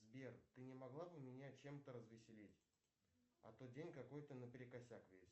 сбер ты не могла бы меня чем то развеселить а то день какой то наперекосяк весь